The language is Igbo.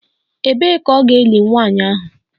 Ebee ka a ga-eli nwanyị ahụ?